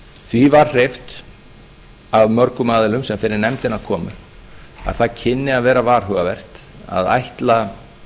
því var hreyft af mörgum aðilum sem fyrir nefndina komu að það kynni að vera varhugavert að ætla